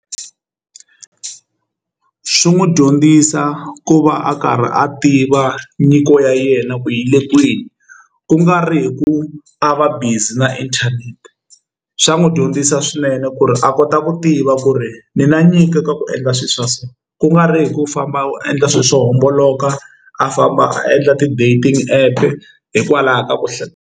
Swi n'wi dyondzisa ku va a karhi a tiva nyiko ya yena ku yi le kwini kungari hi ku a va busy na inthanete swa n'wi dyondzisa swinene ku ri a kota ku tiva ku ri ni na nyiko ka ku endla swilo swa so ku nga ri hi ku famba u endla swilo swo homboloka a famba a endla ti-dating app hikwalaho ka .